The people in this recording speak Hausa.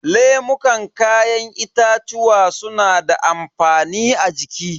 Lemukan kayan itatuwa suna da amfani a jiki.